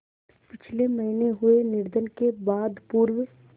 पिछले महीने हुए निधन के बाद पूर्व